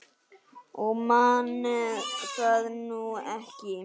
Ég man það nú ekki.